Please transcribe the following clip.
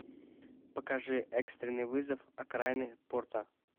покажи экстренный вызов окраины порта